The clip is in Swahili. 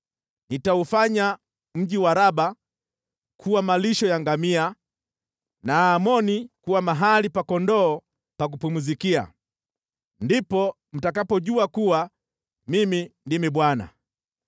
Nitaufanya mji wa Raba kuwa malisho ya ngamia na Amoni kuwa mahali pa kondoo pa kupumzikia. Ndipo mtakapojua kuwa Mimi ndimi Bwana .